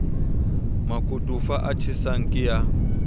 makotofa a tjhesang ke a